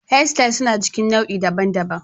Hairstyles suna cikin nau'i daban-daban.